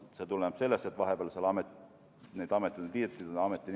See tuleneb sellest, et vahepeal on need ametid liidetud ja ameti nime on muudetud.